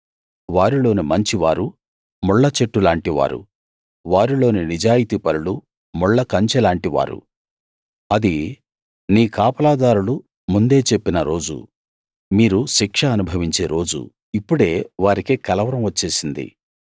వారిలోని మంచివారు ముళ్ళచెట్టులాంటి వారు వారిలోని నిజాయితీ పరులు ముళ్ళకంచెలాంటి వారు అది నీ కాపలాదారులు ముందే చెప్పిన రోజు మీరు శిక్ష అనుభవించే రోజు ఇప్పుడే వారికి కలవరం వచ్చేసింది